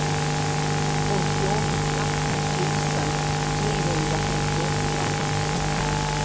åttioåtta tusen trehundrafyrtioåtta